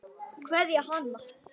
Kveðja, Hanna.